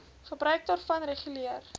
gebruik daarvan reguleer